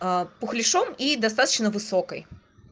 пухляшом и достаточно высокой